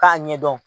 K'a ɲɛdɔn